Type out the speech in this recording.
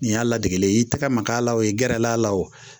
Nin y'a ladege i tɛgɛ ma k'a la o ye gɛrɛla a la o